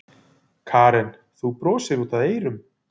Karen: Þú brosir út af eyrum?